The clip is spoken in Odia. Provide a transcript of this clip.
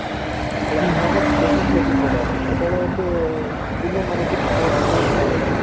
ମାନେ ବେଶି କରିବାର ସେତେବେଳେ ଏତେ indian ମାନେ କିଛି କହୁନଥିଲେ ଏତେ